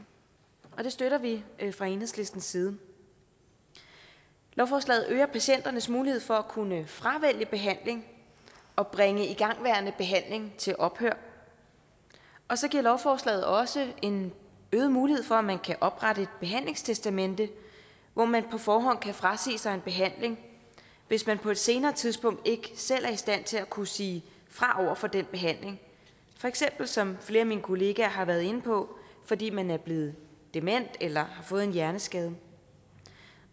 og det støtter vi fra enhedslistens side lovforslaget øger patienternes mulighed for at kunne fravælge behandling og bringe igangværende behandling til ophør og så giver lovforslaget også en øget mulighed for at man kan oprette et behandlingstestamente hvor man på forhånd kan frasige sig en behandling hvis man på et senere tidspunkt ikke selv er i stand til at kunne sige fra over for den behandling for eksempel som flere af mine kollegaer har været inde på fordi man er blevet dement eller har fået en hjerneskade